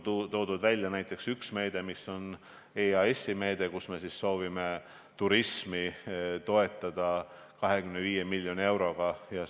Toon välja näiteks ühe EAS-i meetme, mille kaudu soovime 25 miljoni euroga toetada turismi.